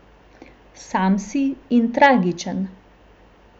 Sam si in tragičen.